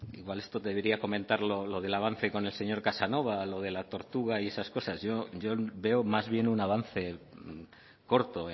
igual esto debería comentarlo lo del avance con el señor casanova lo de la tortuga y esas cosas yo veo más bien un avance corto